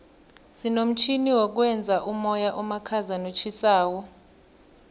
sinomtjhini wokwenza umoya omakhaza notjhisako